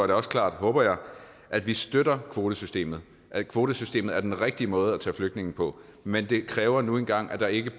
det også klart håber jeg at vi støtter kvotesystemet at kvotesystemet er den rigtige måde at tage flygtninge på men det kræver nu engang at der ikke